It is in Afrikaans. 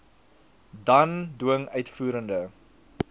dan dwing uitvoerende